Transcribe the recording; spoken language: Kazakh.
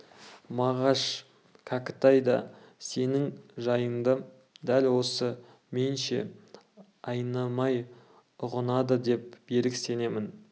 мағаш кәкітай да сенің жайыңды дәл осы менше айнымай ұғынады деп берік сенемін